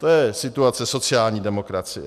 To je situace sociální demokracie.